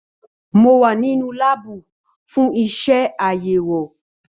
Mo wà nínú láàbù fún iṣẹ àyẹwò.